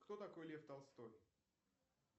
кто такой лев толстой